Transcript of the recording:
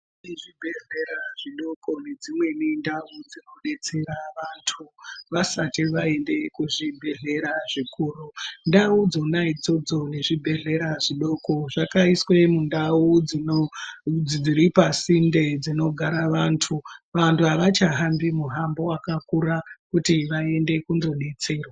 Zvibhedhlera zvidoko nedzimweni ndau dzinoddetsera vantu vasati vaende kuzvibhadhlera zvikuru. Ndau dzona idzodzo nezvibhedhlera zvidoko zvakaiswe mundau dzino dziripasinde dzinogara vantu. Vantu avachahambi muhambo wakakura kuti vaende kundodetserwa.